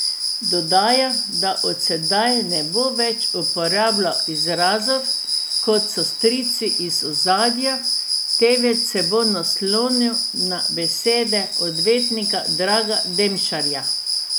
Dodaja, da od sedaj ne bo več uporabljal izrazov, kot so strici iz ozadja, temveč se bo naslonil na besede odvetnika Draga Demšarja.